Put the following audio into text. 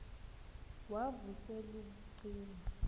wav usel ubucima